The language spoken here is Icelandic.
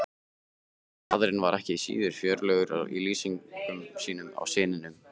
Faðirinn var ekki síður fjörlegur í lýsingum sínum á syninum.